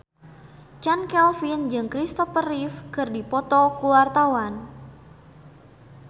Chand Kelvin jeung Christopher Reeve keur dipoto ku wartawan